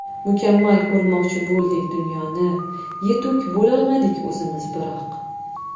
Mukammal ko‘rmoqchi bo‘ldik dunyoni, Yetuk bo‘lolmadik o‘zimiz biroq.